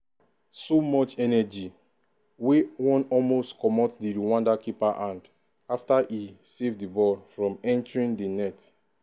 so much energy wey wan almost comot di rwanda keeper hand afta e save di ball from entering di net.